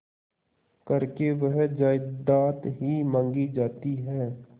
करके वह जायदाद ही मॉँगी जाती है